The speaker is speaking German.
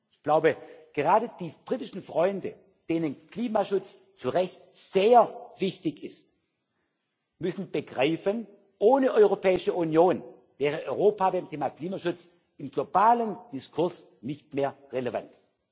Ich glaube, gerade die britischen Freunde, denen Klimaschutz zu Recht sehr wichtig ist, müssen begreifen Ohne Europäische Union wäre Europa beim Thema Klimaschutz im globalen Diskurs nicht mehr relevant.